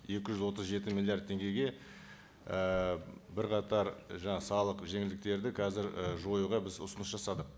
екі жүз отыз жеті миллиард теңгеге і бірқатар салық жеңілдіктерді қазір і жоюға біз ұсыныс жасадық